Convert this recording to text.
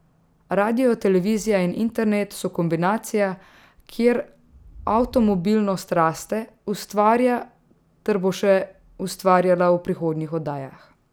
Radio, televizija in internet so kombinacija, kjer Avtomobilnost raste, ustvarja ter bo še ustvarjala v prihodnjih oddajah.